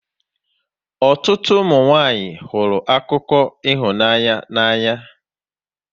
Ụtụtụ ụmụnwanyị hụrụ akụkọ ịhụnanya n'anya